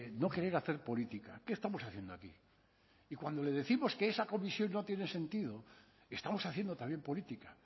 no querer hacer política qué estamos haciendo aquí y cuando le décimos que esa comisión no tiene sentido estamos haciendo también política